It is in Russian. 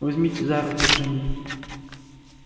возьмите за руку джинни